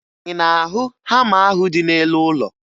Ị na-ahụ hama ahụ dị n'elu ụlọ?